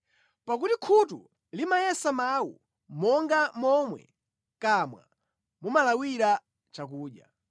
Pakuti khutu limayesa mawu monga momwe mʼkamwa mumalawira chakudya.